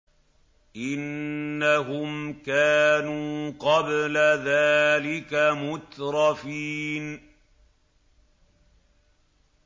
إِنَّهُمْ كَانُوا قَبْلَ ذَٰلِكَ مُتْرَفِينَ